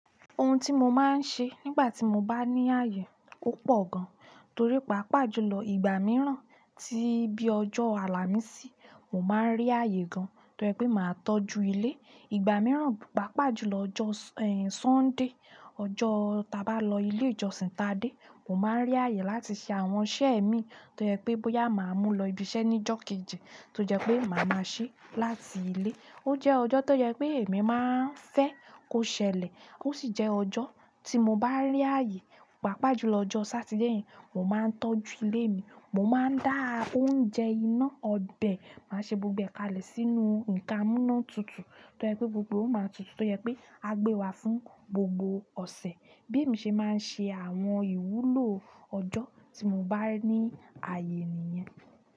Ohun tí mo máa ń ṣe nígbà tí mo bá ní ààyè o pọ̀ gan, torí pàápàá jùlọ ìgbà mìíràn tí bí ojó Àlàmísì, mo máa ń rí ààyè gan tó jẹ́ pé màá tọ́jú ilé. Ìgbà mìíràn, pàápàá jùlọ ọjọ́ Sunday, ọjọ́ ta bá lọ ilé ìjọsìn ta dé, mo máa ń rí ààyè láti ṣe àwọn iṣẹ́ mii tó jẹ́ pé bóyá màá mú lọ ibi iṣẹ́ níjọ́ kejì tó jẹ́ pé màá máa ṣe láti ilé. Ó jẹ́ ọjọ́ tó jẹ́ pé èmi máa ń fẹ́ kó ṣẹlẹ̀, ó sì jẹ́ ọjọ́ tí mo bá rí ààyè, pàápàá jùlọ ọjọ́ Saturday, mo máa ń tọ́jú ilé mi, mo máa ń dá oúnjẹ iná ọbẹ̀, màá ṣe gbogbo è kalẹ̀ sínú nǹkan amúná tutù tó jẹ́ pé gbogbo ó máa tutù tó jẹ́ pé a gbé wá fún gbogbo ọ̀sẹ̀. Bí èmi ṣe máa ń ṣe àwọn ìwúlò ọjọ́ tí mo bá ní ààyè nìyẹn.